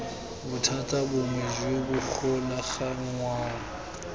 bothata bongwe jo bo golaganngwang